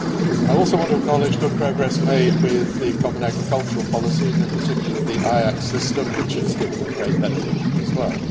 I also want to acknowledge good progress made with the common agricultural policy and, in particular, the IAC system, which has given great benefit as well.